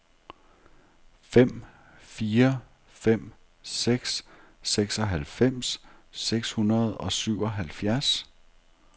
fem fire fem seks seksoghalvfems seks hundrede og syvoghalvfjerds